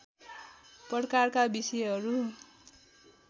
प्रकारका विषयहरू